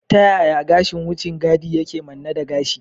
Ta yaya gashin wucin gadi yake manne da gashi?